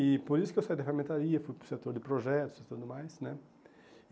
E por isso que eu saí da ferramentaria, fui para o setor de projetos e tudo mais, né?